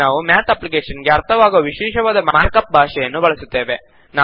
ಇಲ್ಲಿ ನಾವು math application ಗೆ ಅರ್ಥವಾಗುವ ವಿಶೇಷವಾದ ಮಾರ್ಕ್ ಅಪ್ ಭಾಷೆಯನ್ನೂ ಬಳಸುತ್ತೇವೆ